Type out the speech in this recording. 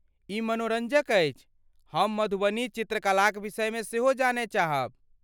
ई मनोरञ्जक अछि, हम मधुबनी चित्रकलाक विषयमे सेहो जानय चाहब।